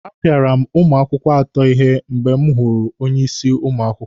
A pịara m ụmụ akwụkwọ atọ ihe mgbe m wụ onye isi ụmụ akwụkwọ.